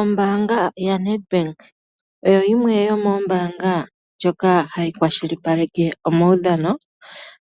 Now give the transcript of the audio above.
Ombaanga yaNedbank oyo yimwe yomoombanga ndjoka hayi kwashipaleke omawudhano,